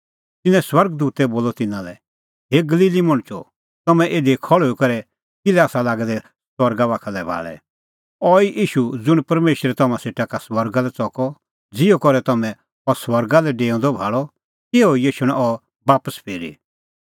तिन्नैं स्वर्ग दूतै बोलअ तिन्नां लै हे गलीली मणछो तम्हैं इधी खल़्हुई करै किल्है आसा लागै दै सरगा बाखा लै भाल़ै अहैई ईशू ज़ुंण परमेशरै तम्हां सेटा का स्वर्गा लै च़कअ ज़िहअ करै तम्हैं अह स्वर्गा लै डेऊंदअ भाल़अ तिहअ ई एछणअ अह बापस फिरी